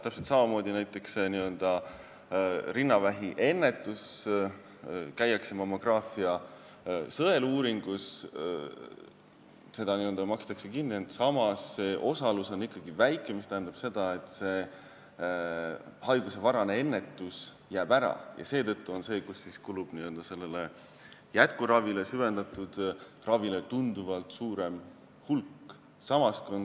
Täpselt samamoodi on näiteks rinnavähi ennetusega – käiakse küll mammograafia sõeluuringus, see makstakse kinni, ent osalus on ikkagi väike, mis tähendab seda, et haiguse varajane ennetus jääb ära ja seetõttu kulub jätkuravile, süvendatud ravile tunduvalt suurem hulk raha.